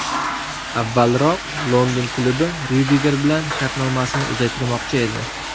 Avvalroq London klubi Ryudiger bilan shartnomasini uzaytirmoqchi edi.